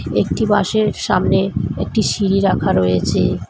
একটি বাসের সামনে একটি সিঁড়ি রাখা রয়েছে।